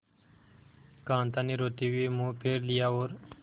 कांता ने रोते हुए मुंह फेर लिया और